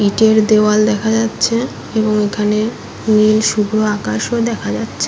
ইটের দেওয়াল দেখা যাচ্ছে এবং এখানে নীল শুধু আকাশ ও দেখা যাচ্ছ--